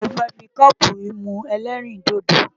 Mo fẹ́ fi kọ́ọ̀bù yìí mu ẹlẹ́rìndòdò.